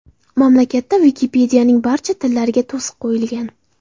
Mamlakatda Wikipedia’ning barcha tillariga to‘siq qo‘yilgan.